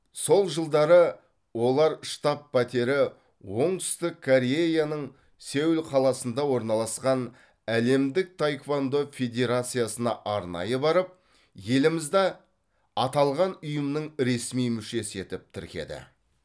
сол жылдары олар штаб пәтері оңтүстік кореяның сеул қаласында орналасқан әлемдік таэквондо федерациясына арнайы барып елімізді аталған ұйымның ресми мүшесі етіп тіркеді